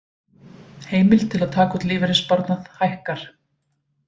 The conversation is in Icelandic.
Heimild til taka út lífeyrissparnað hækkar